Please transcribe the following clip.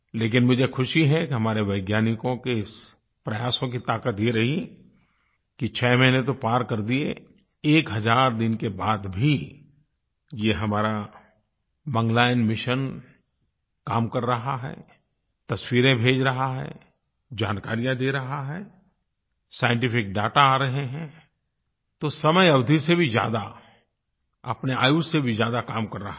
लेकिन मुझे ख़ुशी है कि हमारे वैज्ञानिकों के इस प्रयासों की ताक़त ये रही कि 6 महीने तो पार कर दिये एक हज़ार दिन के बाद भी ये हमारा मंगलयान मिशन काम कर रहा है तस्वीरें भेज रहा है जानकारियाँ दे रहा है साइंटिफिक दाता आ रहे हैं तो समय अवधि से भी ज़्यादा अपने आयुष से भी ज़्यादा काम कर रहा है